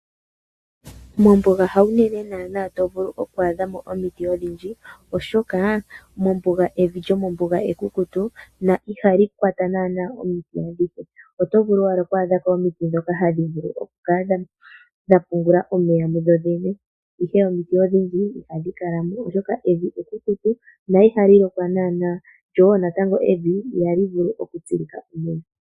Mombuga ha wu nene naana to vulu oku adha mo omiti odhindji, oshoka evi lyomombuga ekukutu na ihali kwata naana omiti adhihe. Oto vulu owala oku adhako omiti dhoka hadhi vulu okukala dha pungula omeya mudho dhene. Ihe omiti odhindji ihadhi kala mo oshoka evi ekukutu, na ihali lokwa naana. Lyo wo natango evi ihali vulu okutsikwa iimeno.